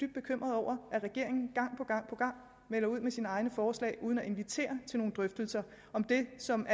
bekymret over at regeringen gang på gang på gang melder sine egne forslag ud uden at invitere til nogle drøftelser om det som